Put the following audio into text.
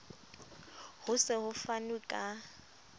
ho se ho fanwe ka